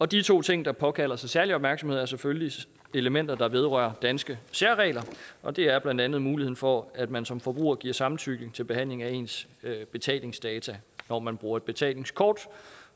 de to ting der påkalder sig særlig opmærksomhed er selvfølgelig elementer der vedrører danske særregler og det er blandt andet muligheden for at man som forbruger giver samtykke til behandling af ens betalingsdata når man bruger et betalingskort